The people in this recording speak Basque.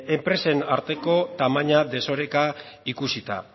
enpresen arteko tamainan desoreka ikusita